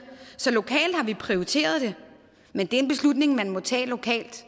så lokalt har vi prioriteret det men det er en beslutning man må tage lokalt